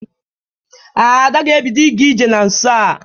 Ada ga-ebido ịga ije na nso a.